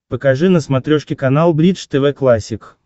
покажи на смотрешке канал бридж тв классик